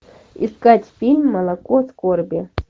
искать фильм молоко скорби